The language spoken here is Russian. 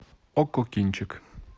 окко кинчик